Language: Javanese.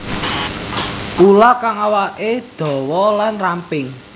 Ula kang awaké dawa lan ramping